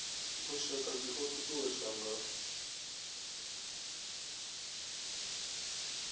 lushaka dzi o uuwedzwa nga